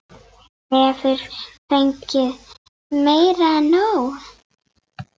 Hefur fengið meira en nóg.